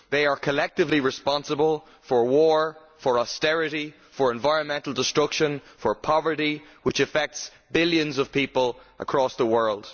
They are collectively responsible for war, austerity, environmental destruction and poverty, which affect billions of people across the world.